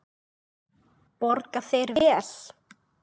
Borga þeir vel?